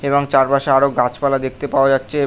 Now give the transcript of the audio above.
এবং চারপাশে আরো গাছপালা দেখতে পাওয়া যাচ্ছে।